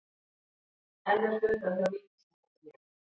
Enn er fundað hjá ríkissáttasemjara